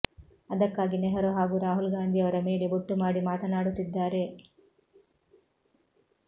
ಅದಕ್ಕಾಗಿ ನೆಹರು ಹಾಗೂ ರಾಹುಲ್ ಗಾಂಧಿಯವರ ಮೇಲೆ ಬೊಟ್ಟು ಮಾಡಿ ಮಾತನಾಡುತ್ತಿದ್ದಾರೆ